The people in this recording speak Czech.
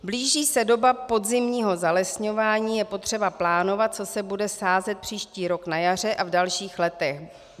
Blíží se doba podzimního zalesňování, je potřeba plánovat, co se bude sázet příští rok na jaře a v dalších letech.